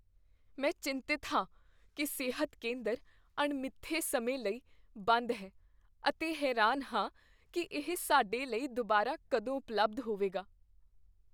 ਮੈਂ ਚਿੰਤਤ ਹਾਂ ਕੀ ਸਿਹਤ ਕੇਂਦਰ ਅਣਮਿੱਥੇ ਸਮੇਂ ਲਈ ਬੰਦ ਹੈ ਅਤੇ ਹੈਰਾਨ ਹਾਂ ਕੀ ਇਹ ਸਾਡੇ ਲਈ ਦੁਬਾਰਾ ਕਦੋਂ ਉਪਲਬਧ ਹੋਵੇਗਾ।